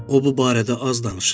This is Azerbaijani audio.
O bu barədə az danışırdı.